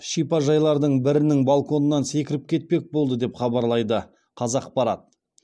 шипажайлардың бірінің балконынан секіріп кетпек болды деп хабарлайды қазақпарат